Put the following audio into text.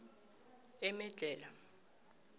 emedlhela